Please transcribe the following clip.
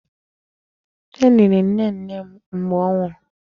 E liri nnenne m mgbe ọ nwụrụ.